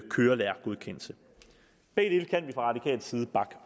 kørelærergodkendelsen begge dele kan vi fra radikal side bakke